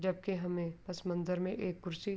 جبکی ہمیں اس منظر مے ایک کرسی--